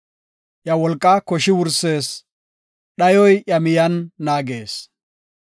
Iya wolqaa koshi wursis; dhayoy iya miyen naagees.